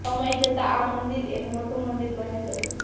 સમય જતા આ મંદિર એક મોટું મંદિર બની ગયું